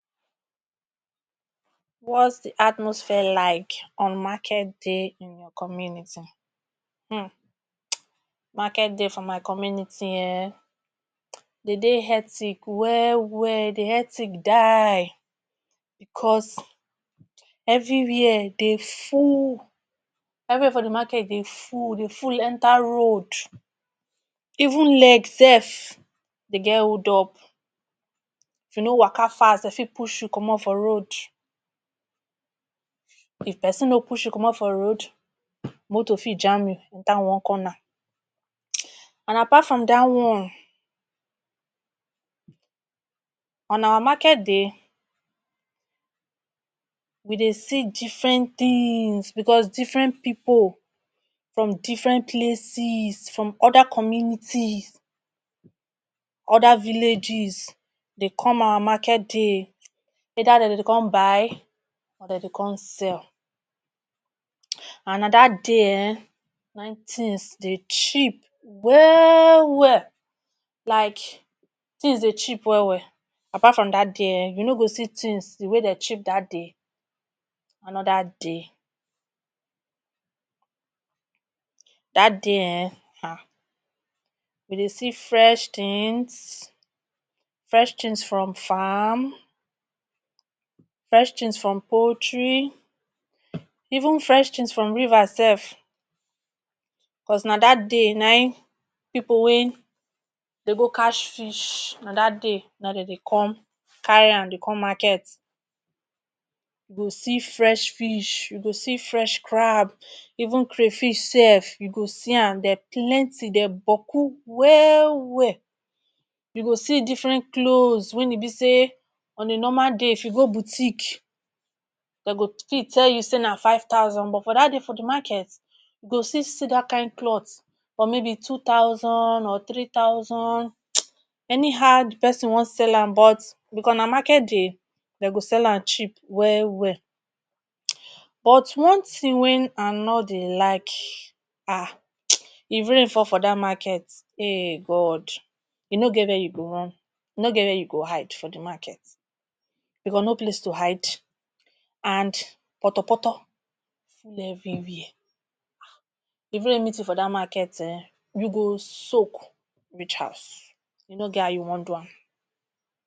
What’s di atmosphere like on market days in your community? um market day for my community um de dey etic well well, dey etic die because evrywia dey full, evrywai for di market dey full dey full enter road. Even leg self dey get holdup, if you no waka fast dem fit push you commot for road if pesin no push you commot for road moto fit jam you. Dat one come na and apart from dat one on our market day, we dey see different tins because different pipu from different places, from oda communities, oda villages dey come our market day, either dem dey come buy or dem dey come sell. And na dat dey um na e tins dey cheap well well, like tins dey cheap well well. Apart from dat day um you no go see tins di way dey cheap dat day anoda day dat day um you go dey see fresh tins, fresh tins from farm, fresh tins from poultry, even fresh tins from river self, because na dat day na e pipu wey de go cash fish na dat day na dey come carry am dey come market, you go see fresh fish, you go see fresh crab, even crayfish self you go see am, dem plenty dem boku well well. You go see different clothes wey e be say on a normal day if you go boutique dem go fit tell you say na five thousand but dat day for di market you go still see dat kain cloth for maybe two thousand or three thousand anyhow di pesin wan sell am but because na market dey dem go sell am cheap well well but one thing wen I no dey like um if rain fall for dat market,[um] God, you no get wia you go run, you no get wia you go hide for di market because no place to hide and potopoto full evriwia even raining season for dat market um you go soke reach house, you no get how you wan do am.